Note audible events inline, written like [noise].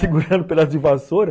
[laughs] Segurando o pedaço de vassoura?